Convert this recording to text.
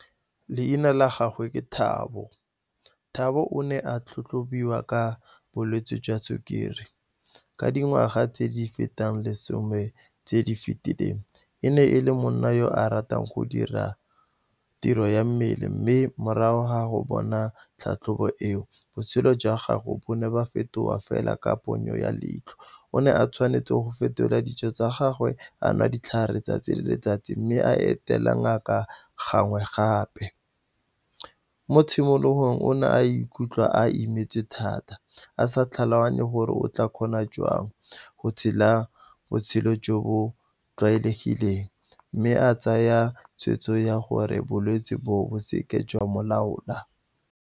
Leina la gagwe ke Thabo. Thabo o ne a tlhatlhobiwa ka bolwetse jwa sukiri ka dingwaga tse di fetang lesome tse di fetileng. E ne e le monna yo a ratang go dira tiro ya mmele, mme morago ga go bona tlhatlhobo eo, botshelo jwa gagwe bo ne ba fetoga fela ka ponyo ya leitlho. O ne a tshwanetseng go fetola dijo tsa gagwe, a nwa ditlhare tsatsi le letsatsi, mme a etela ngaka gangwe gape. Mo tshimologong, o ne a ikutlwa a imetswe thata, a sa tlhaloganye gore o tla kgona jang go tshela botshelo jo bo tlwaelegileng. Mme a tsaya tshweetso ya gore bolwetse bo bo seke jwa mo laola.